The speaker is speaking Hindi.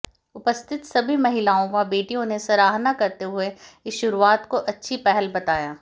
उपस्थित सभी महिलाओं व बेटियों ने सराहना करते हुए इस शुरुआत को अच्छी पहल बताया